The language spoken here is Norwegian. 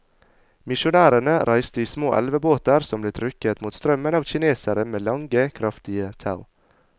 Misjonærene reiste i små elvebåter som ble trukket mot strømmen av kinesere med lange kraftige tau.